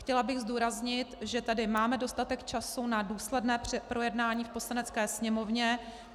Chtěla bych zdůraznit, že tady máme dostatek času na důsledné projednání v Poslanecké sněmovně.